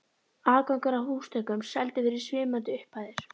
Aðgangur að húsþökum seldur fyrir svimandi upphæðir.